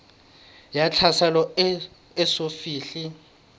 ya tlhaselo e eso fihle